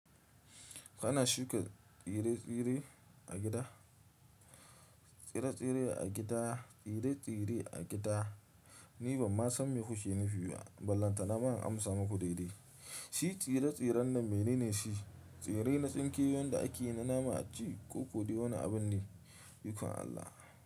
Kana shuka tsire-tsire a gida? Tsire-tsire a gida, tsire-tsire a gida ni ban ma san me kuke nufi ba ballantana ma in amsa maku daidai. Shi tsire-tsiren nan menene shi? Tsire na tsinke wanda ake yi na nama a ci ko ko dai na wani abun ne? Ikon Allah.